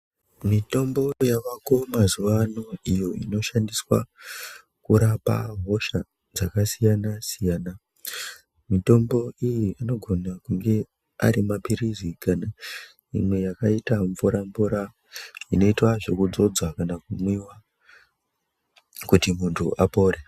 Mitombo yavako mazuwano iyo inoshandiswa kurapa hosha dzakasiyana-siyana. Mitombo iyi inogona kunge ari maphirizi kana imwe yakaita mvura-mvura inoitwa zvekuzodzwa kana kumwiwa kuti muntu apore.